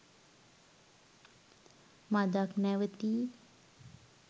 මදක් නැවතී